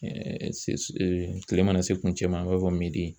se kile mana se kuncɛman an b'a fɔ midi.